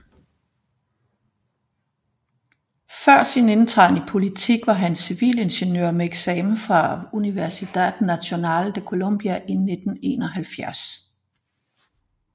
Før sin indtræden i politik var han civilingeniør med eksamen fra Universidad Nacional de Colombia i 1971